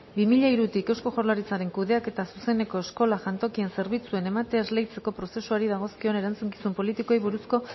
bi mila hirutik eusko jaurlaritzaren kudeaketa zuzeneko eskola jantokien zerbitzuen ematea esleitzeko prozesuari dagozkion erantzukizun politikoei buruzko